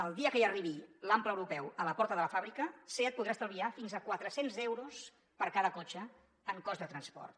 el dia que hi arribi l’ample europeu a la porta de la fàbrica seat podrà estalviar fins a quatre cents euros per cada cotxe en cost de transport